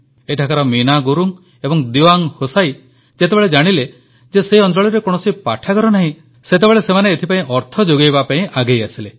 ଏଠାକାର ମିନା ଗୁରୁଙ୍ଗ ଏବଂ ଦିୱାଙ୍ଗ୍ ହୋସାଇ ଯେତେବେଳେ ଜାଣିଲେ ଯେ ସେହି ଅଂଚଳରେ କୌଣସି ପାଠାଗାର ନାହିଁ ସେତେବେଳେ ସେମାନେ ଏଥିପାଇଁ ଅର୍ଥ ଯୋଗାଇବା ପାଇଁ ଆଗେଇ ଆସିଲେ